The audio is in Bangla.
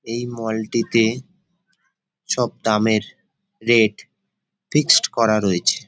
এই মল টিতে সব দামের রেট ফিক্সড করা রয়েছে।